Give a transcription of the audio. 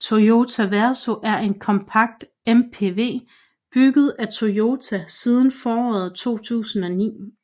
Toyota Verso er en kompakt MPV bygget af Toyota siden foråret 2009